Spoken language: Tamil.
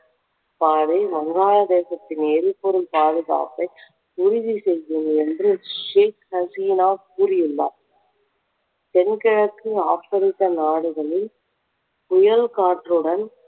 பாதை வங்காள தேசத்தின் எரிபொருள் பாதுகாப்பை உறுதி செய்யும் என்று ஷேக் ஹசினா கூறியுள்ளார் தென்கிழக்கு ஆப்பிரிக்க நாடுகளில் புயல் காற்றுடன்